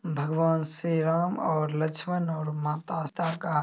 भगवान श्री राम और लक्षमण और माता सीता का --